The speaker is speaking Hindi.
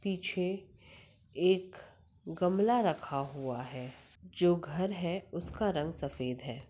पीछे एक गमला रखा हुआ है जो घर है उसका रंग सफ़ेद है।